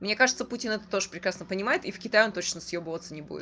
мне кажется путин это тоже прекрасно понимает и в китай он точно съёбываться не будет